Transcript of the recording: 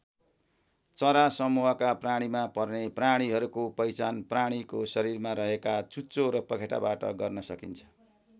चरा समुहका प्राणीमा पर्ने प्राणीहरूको पहिचान प्राणीको शरीरमा रहेका चुच्चो र पखेटाबाट गर्न सकिन्छ।